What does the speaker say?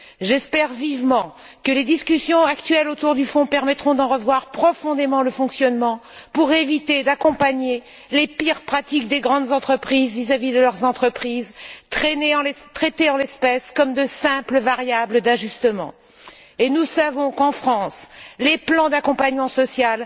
J'espère vivement que les discussions actuelles sur le Fonds permettront d'en revoir profondément le fonctionnement pour éviter d'accompagner les pires pratiques des grandes entreprises vis à vis de leurs travailleurs, traités en l'espèce comme de simples variables d'ajustement. Nous savons qu'en France, les plans d'accompagnement social